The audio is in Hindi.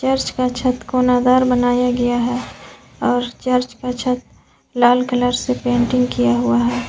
इसका छत कोना दार बनाया गया है और चर्च का छत लाल कलर से पेंटिंग किया गया है।